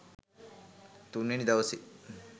තුන්වෙනි දවසේ